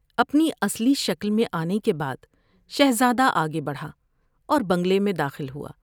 اپنی اصلی شکل میں آنے کے بعد شہزادہ آگے بڑھا اور بنگلے میں داخل ہوا ۔